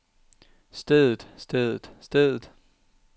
stedet stedet stedet